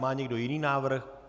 Má někdo jiný návrh?